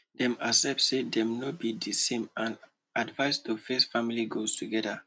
dem accept say dem no be the same and decide to face family goals together